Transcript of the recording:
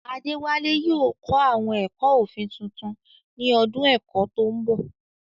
Adewale yóò kọ́ àwọn ẹ̀kọ́ òfin tuntun ní ọdún ẹ̀kọ́ tó ń bọ̀.